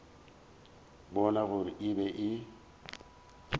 bona gore e be e